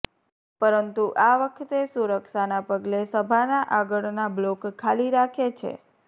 પરંતુ આ વખતે સુરક્ષાના પગલે સભાના આગળના બ્લોક ખાલી રાખે છે